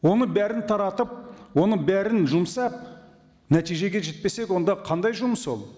оны бәрін таратып оны бәрін жұмсап нәтижеге жетпесек онда қандай жұмыс ол